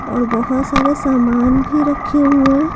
और बहुत सारे सामान भी रखे हुए है।